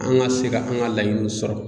An ka se ka an ka laɲiniw sɔrɔ.